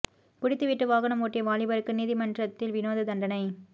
குடித்துவிட்டு வாகனம் ஓட்டிய வாலிபருக்கு நீதிமன்றமத்தில் வினோத தண்டனை